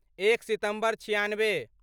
एक सितम्बर छिआनबे